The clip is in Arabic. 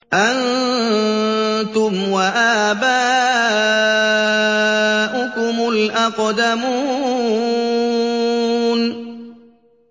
أَنتُمْ وَآبَاؤُكُمُ الْأَقْدَمُونَ